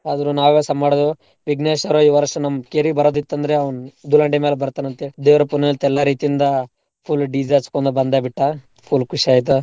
ಆದ್ರೂ ನಾವ್ಸಾ ಮಾಡುದು ವಿಘ್ನೇಶ್ವರ ಈ ವರ್ಷ ನಮ್ ಕೇರಿಗ್ ಬರೂದ್ ಇತ್ತಂದ್ರೇ ಅವ್ನ್ ದುಲಾಂಡಿ ಮ್ಯಾಲ್ ಬರ್ತಾನ್ ಅಂತೇಳ್ ದೇವ್ರ ಪುನಃ ಎಂತೆಲ್ಲಾ ರೀತಿಯಿಂದ full DJ ಹಚ್ಕೋಂದ್ ಬಂದೇ ಬಿಟ್ಟಾ full ಖುಶಿ ಆಯ್ತು.